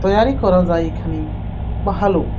তৈয়ারি করা যায় এখানে ভালো।